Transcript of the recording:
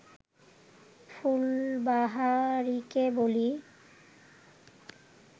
ফুলবাহারিকে বলি